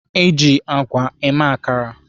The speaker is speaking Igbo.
Eji àgwà eme akara.